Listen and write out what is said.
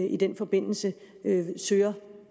i den forbindelse søger